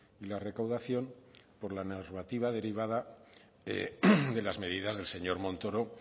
y la recaudación por la normativa derivada de las medidas del señor montoro